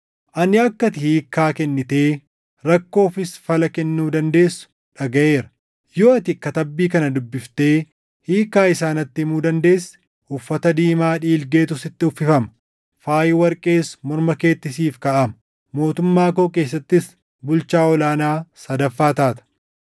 Ani akka ati hiikkaa kennitee rakkoofis fala kennuu dandeessu dhagaʼeera. Yoo ati katabbii kana dubbiftee hiikkaa isaa natti himuu dandeesse, uffata diimaa dhiilgeetu sitti uffifama; faayi warqees morma keetti siif kaaʼama; mootummaa koo keessattis bulchaa ol aanaa sadaffaa taata.”